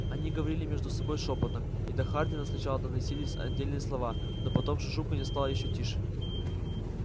они говорили между собой шёпотом и до хардина сначала доносись отдельные слова но потом шушуканье стало ещё тише